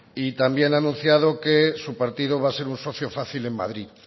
y también ha anunciado que su partido va a ser un socio fácil en madrid